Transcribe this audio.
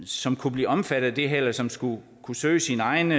som kunne blive omfattet af det her og som skal kunne søge sine egne